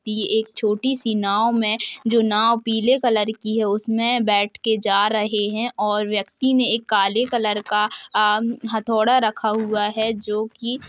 ये एक छोटी सी नाव में जो नाव पीले कलर की हैं उसमे बैठ कर जा रहे हैं और व्यक्ति ने एक काले कलर का आ मम हथौड़ा रखा हुआ है जो की--